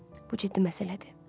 Bu ciddi məsələdir.